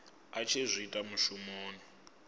a tshi zwi ita mushumoni